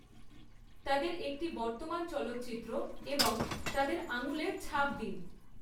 তাদের একটি বর্তমান চলচ্চিত্র এবং তাদের আঙুলের ছাপ দিন।